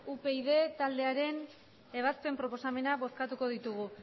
upyd taldearen ebazpen proposamena bozkatuko ditugu